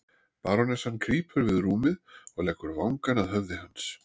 Barónessan krýpur við rúmið og leggur vangann að höfði hans.